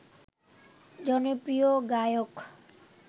জনপ্রিয় গায়ক